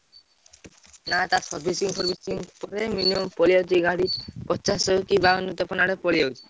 ନାଁ ତା lang:Foreign servicing lang:Foreign ପଳେଇଆସୁଛି ଗାଡି ପଚାଶ କି ବାଉଁନ କି ତେପନ ଆଡେ ପଳେଈ ଆସୁଛି।